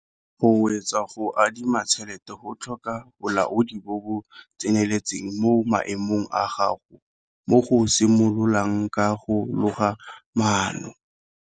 Go swetsa go adima tšhelete go tlhoka bolaodi bo bo tseneletseng mo maemong a gago, mo go simololang ka go loga maano.